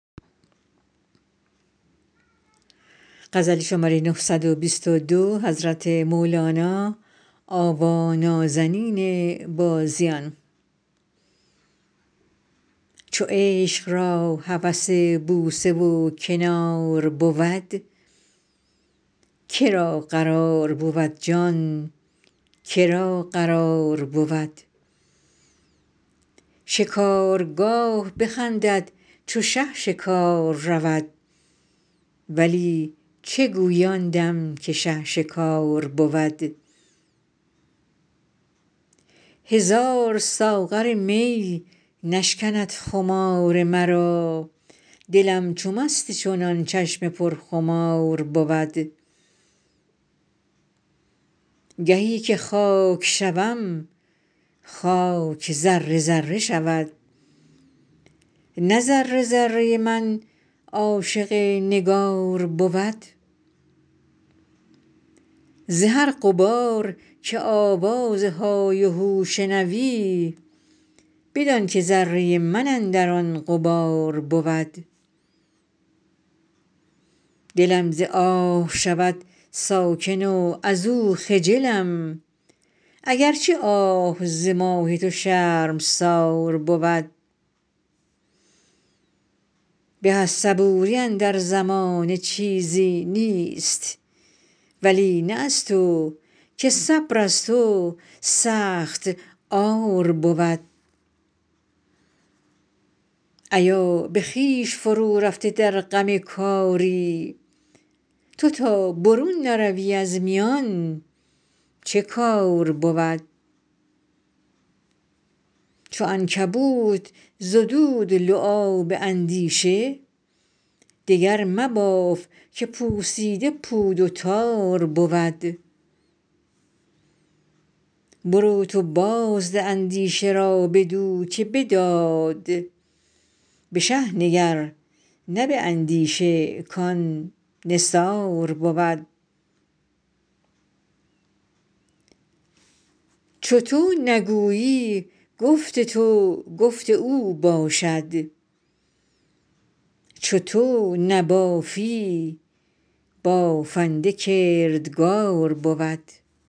چو عشق را هوس بوسه و کنار بود که را قرار بود جان که را قرار بود شکارگاه بخندد چو شه شکار رود ولی چه گویی آن دم که شه شکار بود هزار ساغر می نشکند خمار مرا دلم چو مست چنان چشم پرخمار بود گهی که خاک شوم خاک ذره ذره شود نه ذره ذره من عاشق نگار بود ز هر غبار که آوازهای و هو شنوی بدانک ذره من اندر آن غبار بود دلم ز آه شود ساکن و ازو خجلم اگر چه آه ز ماه تو شرمسار بود به از صبوری اندر زمانه چیزی نیست ولی نه از تو که صبر از تو سخت عار بود ایا به خویش فرورفته در غم کاری تو تا برون نروی از میان چه کار بود چو عنکبوت زدود لعاب اندیشه دگر مباف که پوسیده پود و تار بود برو تو بازده اندیشه را بدو که بداد به شه نگر نه به اندیشه کان نثار بود چو تو نگویی گفت تو گفت او باشد چو تو نبافی بافنده کردگار بود